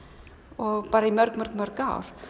og í mörg mörg mörg ár